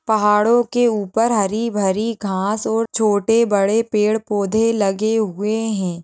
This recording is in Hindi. पहाड़ो के ऊपर हरी-भरी घास और छोटे-बड़े पेड़-पौधे लगे हुए है।